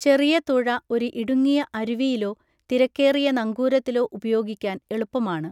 ചെറിയ തുഴ ഒരു ഇടുങ്ങിയ അരുവിയിലോ തിരക്കേറിയ നങ്കൂരത്തിലോ ഉപയോഗിക്കാൻ എളുപ്പമാണ്.